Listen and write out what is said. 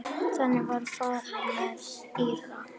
Þannig var farið með Íra.